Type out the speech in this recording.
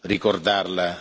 ricordarla.